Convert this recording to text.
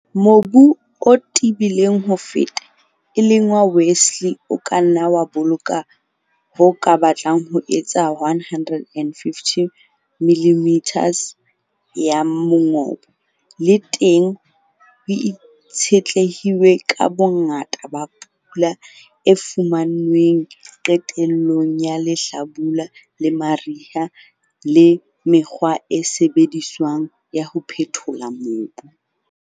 Mobu o tebileng ho feta, e leng wa Westleigh o ka nna wa boloka ho ka batlang ho etsa 150 mm ya mongobo, le teng ho itshetlehilwe ka bongata ba pula e fumanweng qetellong ya lehlabula le mariha le mekgwa e sebediswang ya ho phethola mobu.